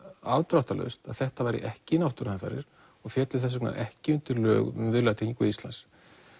afdráttalaust að þetta væri ekki náttúruhamfarir og félli þess vegna ekki undir lög um Viðlagatryggingu Íslands